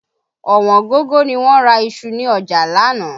Ọ̀wọ́n gógó ni wọ́n ra iṣu ni ọjà l'ánàá